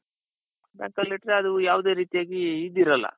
bank ಅಲ್ಲಿಟ್ರೇ ಅದು ಯಾವದೇ ರೀತಿಯಾಗಿ ಇದಿರಲ್ಲ.